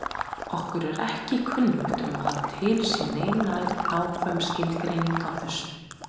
Okkur er ekki kunnugt um að til sé nein nákvæm skilgreining á þessu.